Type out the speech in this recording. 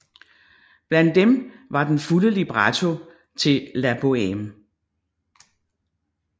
Blandt dem var den fulde libretto til La Bohème